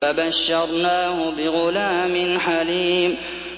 فَبَشَّرْنَاهُ بِغُلَامٍ حَلِيمٍ